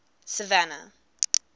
savannah